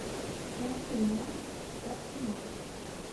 найти матч арсенал